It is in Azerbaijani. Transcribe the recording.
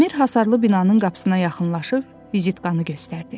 Dəmir hasarlı binanın qapısına yaxınlaşıb vizitkanı göstərdi.